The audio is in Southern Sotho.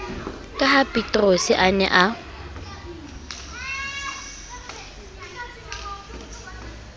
ka hapeterose a ne a